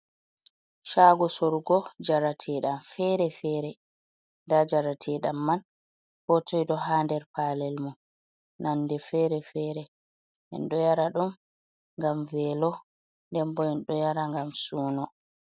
Shago sorgo njarateɗam fere fere, nda njarateɗam man ko toi ɗo ha nder palel mum nonde fere fere, ɗum ɗo yara ɗum ngam velo ndembo ɗum ɗo yara ngam suno.